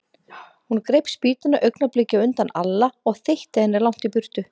Hún greip spýtuna augnabliki á undan Alla og þeytti henni langt í burtu.